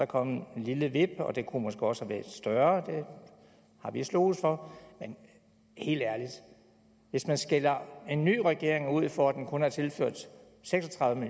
kommet et lille vip og det kunne måske også have været større det har vi sloges for men helt ærligt hvis man skælder en ny regering ud for at den kun har tilført seks og tredive